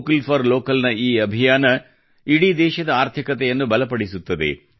vocal for ಲೋಕಲ್ನ ಈ ಅಭಿಯಾನವು ಇಡೀ ದೇಶದ ಆರ್ಥಿಕತೆಯನ್ನು ಬಲಪಡಿಸುತ್ತದೆ